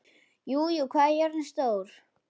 Júlí, hvað er jörðin stór?